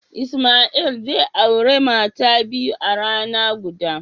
Ismail zai aure mata biyu a rana guda.